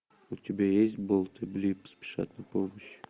у тебя есть болт и блип спешат на помощь